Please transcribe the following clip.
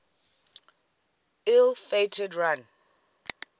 ill fated run